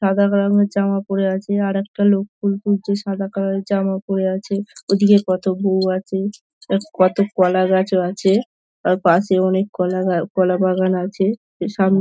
সাদা রঙের জামা পড়ে আছে। আর একটা লোক ফুল তুলছে। সাদা কালার -এর জামা পড়ে আছে। ওদিকে কত বৌ আছে। আর কত কলা গাছও আছে। তার পাশে অনেক কলা গা কলা বাগান আছে। সামনে--